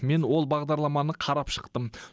мен ол бағдарламаны қарап шықтым